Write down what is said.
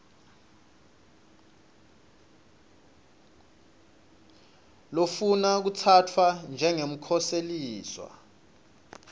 lofuna kutsatfwa njengemkhoseliswa